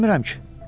Bilmirəm ki.